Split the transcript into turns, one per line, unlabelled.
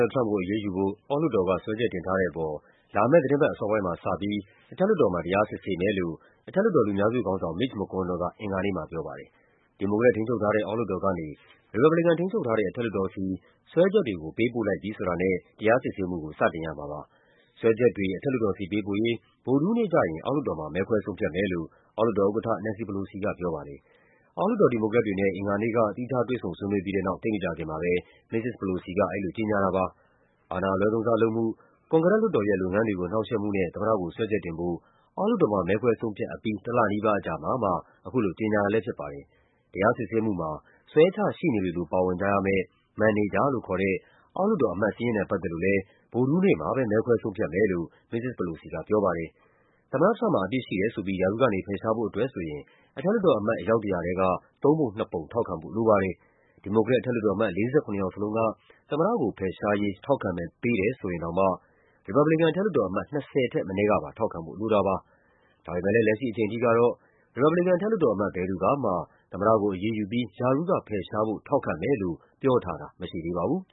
လ်ဒ် ထရမ့်ပ်ကို အရေးယူဖို့ အောက်လွှတ်တော်က စွဲချက်တင်ထားတဲ့အပေါ် လာမယ့်သီတင်းပတ် အစောပိုင်း မှာ စပြီး အထက်လွှတ်တော်မှာ တရားစစ်ဆေးမယ်လို့ အထက်လွှတ်တော် လူများစုခေါင်းဆောင် Mitch McConnell က အင်္ဂါနေ့မှာ ပြောပါတယ်။ ဒီမိုကရက်ထိန်းချုပ်ထားတဲ့ အောက်လွှတ်တော်ကနေ ရီပတ်ဘလီကန်ထိန်းချုပ်ထားတဲ့ အထက်လွှတ်တော်ဆီ စွဲချက်တွေကို ပေးပို့လိုက်ပြီဆိုတာနဲ့ တရားစစ်ဆေးမှုကို စတင်ရမှာပါ။ စွဲချက်တွေ အထက်လွှတ်တော်ဆီ ပေးပို့ရေး ဗုဒ္ဓဟူးနေ့ကျရင် အောက် လွှတ်တော်မှာ မဲခွဲဆုံးဖြတ်မယ်လို့ အောက်လွှတ်တော်ဥက္ကဋ္ဌ Nancy Pelosi က ပြောပါတယ်။ အောက်လွှတ်တော် ဒီမိုကရက်တွေနဲ့ အင်္ဂါနေ့က သီးခြား တွေ့ဆုံ ဆွေးနွေးပြီးတဲ့နောက် သိပ်မကြာခင်မှာပဲ မစ္စစ် Pelosi က အဲဒီ လိုကြေညာတာပါ။ အာဏာအလွဲသုံးစားလုပ်မှု၊ ကွန်ဂရက်လွှတ်တော်ရဲ့ လုပ်ငန်းတွေကို နှောင့်ယှက်မှုနဲ့ သမ္မတကိုစွဲချက်တင်ဖို့ အောက်လွှတ်တော်မှာ မဲခွဲဆုံးဖြတ်အပြီး တလနီးပါးအကြာမှာမှ အခုလိုကြေညာတာလည်းဖြစ်ပါတယ်။ တရားစစ်ဆေးမှုမှာ ဆွဲချရှေ့နေတွေလို ပါဝင်ကြမယ့် မန်နေဂျာလို့ခေါ်တဲ့ အောက်လွှတ်တော်အမတ်စာရင်းနဲ့ ပတ်သက်လို့လည်း ဗုဒ္ဓဟူးနေ့မှာပဲ မဲခွဲဆုံးဖြတ်မယ်လို့ မစ္စစ် Pelosi ကပြောပါတယ်။ သမ္မတထရမ့်ပ်မှာ အပြစ်ရှိတယ်ဆိုပြီး ရာထူးကနေဖယ်ရှားဖို့အတွက်ဆိုရင် အထက်လွှတ်တော်အမတ် အယောက် ၁၀၀ ထဲက သုံးပုံနှစ်ပုံ ထောက်ခံဖို့လိုပါတယ်။ ဒီမိုကရက်အထက်လွှတ်တော်အမတ် ၄၇ ယောက်လုံးက သမ္မတကိုဖယ်ရှားရေး ထောက်ခံမဲ ပေးတယ်ဆိုရင်တောင်မှ ရီပတ်ဘလီကန် အထက်လွှတ်တော်အမတ် ၂၀ ထက်မနည်းကပါ ထောက်ခံဖို့လိုတာပါ။ ဒါပေမယ့် လက်ရှိအချိန်ထိကတော့ ရီပတ်ဘလီကန် အထက်လွှတ်တော်အမတ် ဘယ်သူကမှ သမ္မတကို အရေးယူပြီး ရာထူးက ဖယ်ရှားဖို့ ထောက်ခံမယ်လို့ပြောထားတာ မရှိသေးပါဘူး